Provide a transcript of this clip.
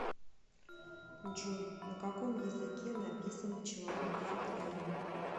джой на каком языке написано человек в футляре